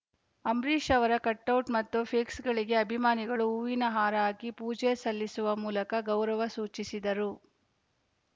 ಅಂಬರೀಷ್‌ ಅವರ ಕಟೌಟ್‌ ಮತ್ತು ಫ್ಲೆಕ್ಸ್‌ಗಳಿಗೆ ಅಭಿಮಾನಿಗಳು ಹೂವಿನ ಹಾರ ಹಾಕಿ ಪೂಜೆ ಸಲ್ಲಿಸುವ ಮೂಲಕ ಗೌರವ ಸೂಚಿಸಿದರು